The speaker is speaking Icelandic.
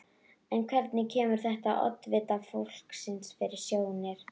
En hvernig kemur þetta oddvita flokksins fyrir sjónir?